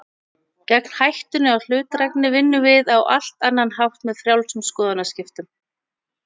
Gegn hættunni á hlutdrægni vinnum við á allt annan hátt, með frjálsum skoðanaskiptum.